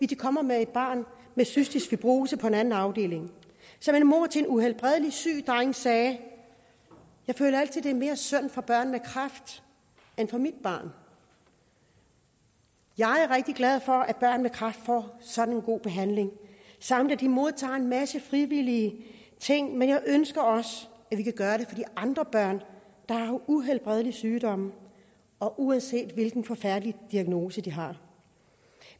de kommer med et barn med cystisk fibrose på en anden afdeling som en mor til en uhelbredeligt syg dreng sagde jeg føler altid det er mere synd for børn med kræft end for mit barn jeg er rigtig glad for at børn med kræft får sådan en god behandling samt at de modtager en masse ting fra frivillige men jeg ønsker også at vi kan gøre det for de andre børn der har uhelbredelige sygdomme og uanset hvilken forfærdelig diagnose de har